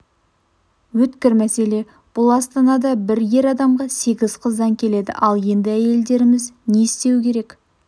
өткір мәселе бұл астанада бір ер адамға сегіз қыздан келеді ал енді әйелдеріміз не істеуі керек